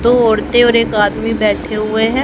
तो औरतें और एक आदमी बैठे हुए हैं।